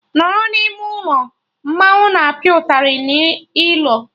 Nọrọ n'ime ụlọ! Mmanwụ na apịa ụtarị na ilo